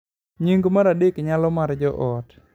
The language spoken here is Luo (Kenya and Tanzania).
nying mar adek nyalo mar joot